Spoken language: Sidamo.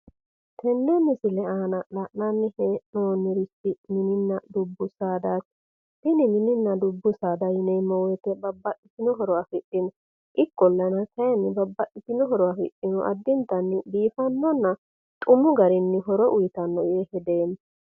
tenne misile aana la'nanni hee'noommorichi mininna dubbu saadaati tini mininna dubbu sadaati yineemmo wote babaxitino horo afidhino ikkolana kayiinni babaxitino horo afidhino addintanni biifannonna xumu garinni horo uyiitanno yee hedeemma.